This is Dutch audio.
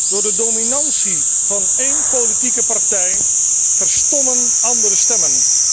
Door de dominantie van één politieke partij verstommen andere stemmen.